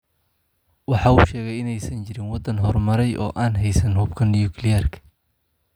Waxa uu sheegay in aysan jirin wadan horumaray oo aan heysan hubka Nukliyeerka.